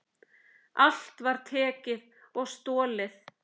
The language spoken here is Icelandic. Allt var tekið og stolið.